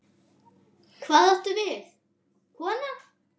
Hvað áttu við, kona?